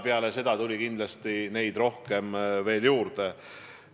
Peale seda tuli neid kindlasti veel juurde.